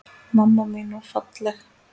Mamma mín var falleg.